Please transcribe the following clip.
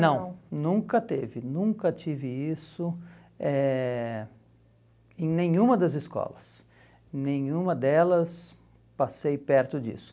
Não, nunca teve, nunca tive isso eh em nenhuma das escolas, nenhuma delas passei perto disso.